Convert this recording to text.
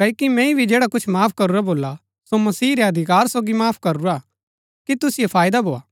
क्ओकि मैंई भी जैडा कुछ माफ करूरा भोला सो मसीह रै अधिकार सोगी माफ करूरा कि तुसिओ फायदा भोआ